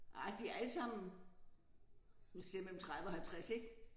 Nej de allesammen nu siger jeg mellem 30 og 50 ik